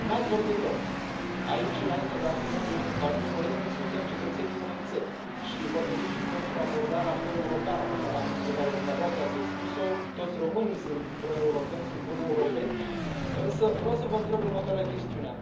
Nu ați vorbit rău aici, înainte de a fi membrii unui partid politic, suntem cetățenii unei țări și vă felicit pentru abordarea proeuropeană pe care dumneavoastră ați expus o toți românii sunt proeuropeni, sunt buni europeni însă vreau să vă întreb următoarea chestiune.